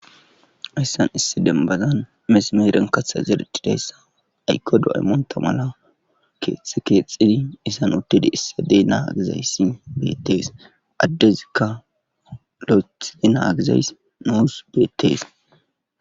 Hayssan issi denbazan mesimeiren katha zerdidayssa aykko do7ay monta mala keexxe keexxidi isan uttidi issadey naagizayssi beettees addezikka lo7ethadi naagizays nuus beettees